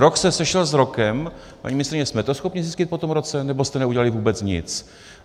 Rok se sešel s rokem - paní ministryně, jsme to schopni zjistit po tom roce, nebo jste neudělali vůbec nic?